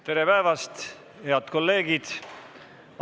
Tere päevast, head kolleegid!